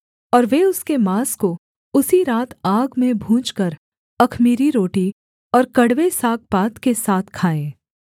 और वे उसके माँस को उसी रात आग में भूनकर अख़मीरी रोटी और कड़वे सागपात के साथ खाएँ